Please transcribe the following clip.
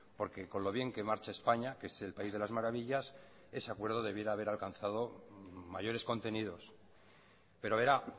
porque con lo bien que marcha españa que es el país de las maravillas ese acuerdo debiera haber alcanzado mayores contenidos pero verá